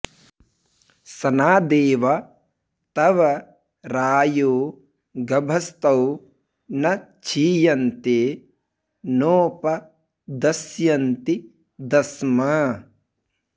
स॒नादे॒व तव॒ रायो॒ गभ॑स्तौ॒ न क्षीय॑न्ते॒ नोप॑ दस्यन्ति दस्म